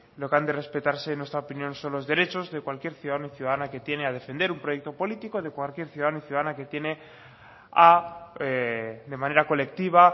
lo que han de respetarse en nuestra opinión son los derechos de cualquier ciudadano o ciudadana que tiene a defender un proyecto político de cualquier ciudadano o ciudadana que tiene a de manera colectiva